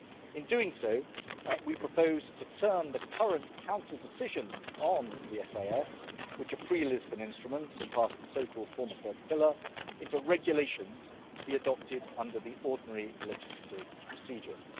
In doing so, we propose to turn the current Council decisions on the SIS which are pre Lisbon instruments and part of the so called former third pillar into regulations to be adopted under the ordinary legislative procedures.